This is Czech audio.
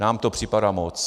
Nám to připadá moc.